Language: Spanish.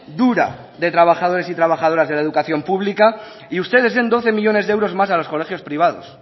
dura de trabajadores y trabajadoras de la educación pública y ustedes den doce millónes de euros más a los colegios privados